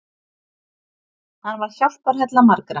Hann var hjálparhella margra.